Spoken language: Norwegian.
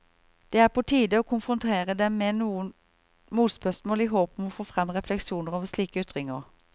Det er på tide å konfrontere dem med noen motspørsmål i håp om å få frem refleksjoner over slike ytringer.